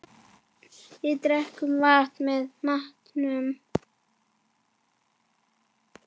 Við drekkum vatn með matnum.